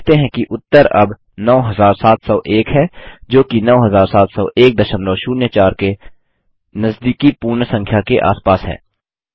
आप देखते हैं कि उत्तर अब 9701 है जोकि 970104 के नजदीकी पूर्ण संख्या के आसपास है